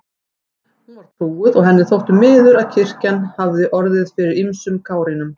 Hún var trúuð og henni þótti miður að kirkjan hafði orðið fyrir ýmsum kárínum.